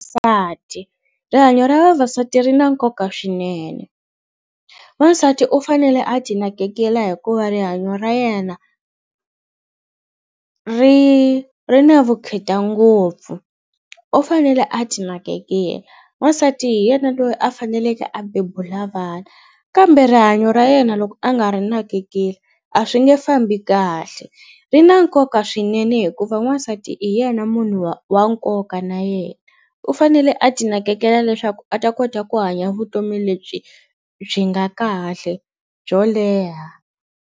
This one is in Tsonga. rihanyo ra vavasati ri na nkoka swinene wasati u fanele a ti nakekela hikuva rihanyo ra yena ri ri na vukheta ngopfu u fanele a ti nakekela n'wasati hi yena loyi a faneleke a bebula vana kambe rihanyo ra yena loko a nga ri nakekeli a swi nge fambi kahle ri na nkoka swi swinene hikuva n'wasati hi yena munhu wa wa nkoka na yena u fanele a ti nakekela leswaku a ta kota ku hanya vutomi lebyi byi nga kahle byo leha.